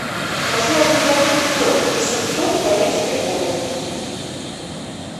хочу обменять пятьсот восемьсот корейской воны